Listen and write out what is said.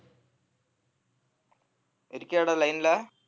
இருக்கியாடா line ல